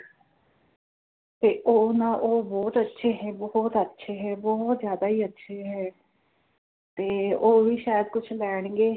ਤੇ ਉਹ ਨਾ ਉਹ ਬੋਹੋਤ ਅੱਛੇ ਹੈ ਬੋਹੋਤ ਅੱਛੇ ਹੈ ਬੋਹੋਤ ਜ਼ਿਆਦਾ ਹੀ ਅੱਛੇ ਹੈ ਤੇ ਓ ਵੀ ਸ਼ਾਇਦ ਕੁਝ ਲੈਣਗੇ